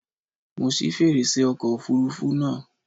Mo ṣí fèrèsé ọkọ̀ òfurufú náà.